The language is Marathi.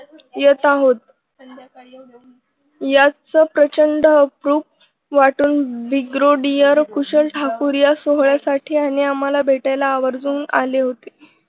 येत आहोत याचा प्रचंड अप्रूप वाटून bigrodear कुशल ठाकूर या सोहळ्यासाठी आणि आम्हाला भेटायला आवर्जून आले होते.